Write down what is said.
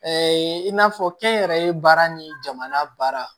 i n'a fɔ kɛnyɛrɛye baara ni jamana baara baara